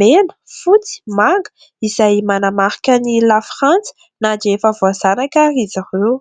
mena fotsy manga izay manamarika ny lafyfranty na dia efa voazanaka ary izy reo.